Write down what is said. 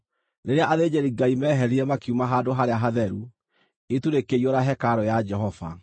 Rĩrĩa athĩnjĩri-Ngai meeherire makiuma Handũ-harĩa-Hatheru, itu rĩkĩiyũra hekarũ ya Jehova.